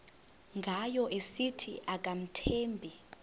ngayo esithi akamthembi